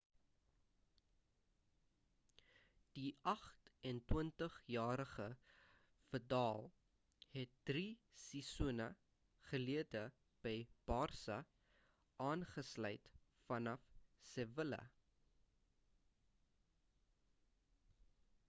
die 28-jarige vidal het drie seisoene gelede by barça aangesluit vanaf sevilla